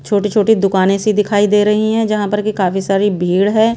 छोटी छोटी दुकाने सी दिखाई दे रही हैं यहां पर कि काफी सारी भीड़ है।